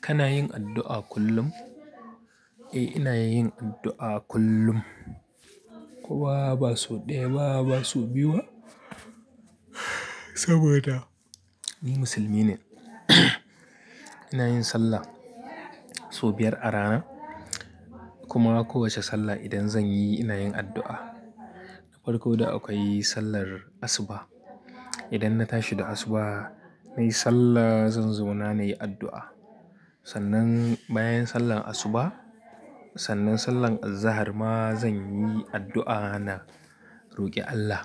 Kana yin addu'a kullum? Eh, ina yin addu'a kullum. Koma ba so ɗaya, ba ba so biyu ba. Saboda ni musulmi ne. Ina yin sallah sau biyar a rana, kuma kowace sallah idan zan yi, ina yin addu'a. Da farko da akwai sallar asuba. Idan na tashi da asuba, nayi sallah, zan zauna na nayi addu'a. Sannan bayan sallan asuba, sannan sallan azahar ma zan yi addu'a na roƙi Allah.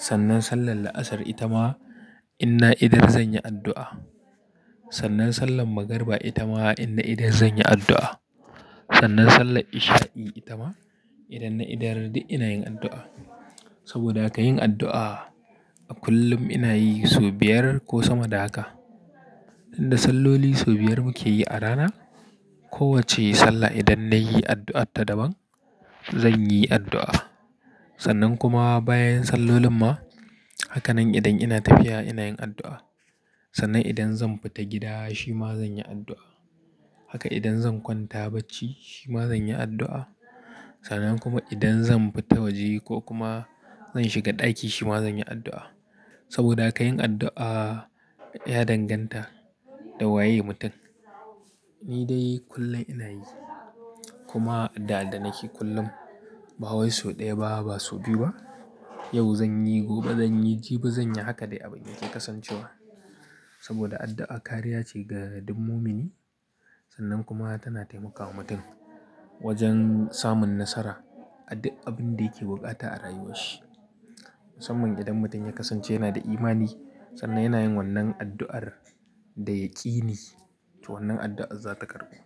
Sannan sallan la'asar ita ma inna idar zan yi addu'a. Sannan sallan magariba ita ma inna idar zan yi addu'a. Sannan sallan isha'i ita ma idan na idar duk ina yin addu'a. Saboda ka yin addu'a a kullum ina yi sau biyar ko sama da haka. Inda salloli sau biyar muke yi a rana, kowacce sallah idan nayi addu'arta daban zan yi addu'a. Sannan kuma bayan salloli ma, haka nan idan ina tafiya ina yin addu'a. Sannan idan zan fita gida shima zan yi addu'a. Haka idan zan kwanta bacci shima zan yi addu'a. Sannan kuma idan zan fita waje ko kuma zan shiga ɗaki shima zan yi addu'a. Saboda ka yin addu'a ya danganta da waye mutum. Ni dai kullum ina yi. Kuma da addanaki kullum, ba wai so ɗaya ba, ba so biyu ba. Yau zan yi, gobe zan yi, jibi zan yi, haka dai abin ya ke kasancewa. Saboda addu'a kariya ce ga duk mumini. Sannan kuma tana taimakawa mutum wajen samun nasara a duk abin da yake buƙata a rayuwarshi. Musamman idan mutum ya kasance yana da imani, sannan yana yin wannan addu'ar da yaƙini, to wannan addu'ar za ta karɓu.